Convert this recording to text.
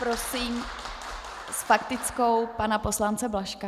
Prosím s faktickou pana poslance Blažka.